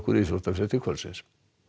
íþróttafréttir kvöldsins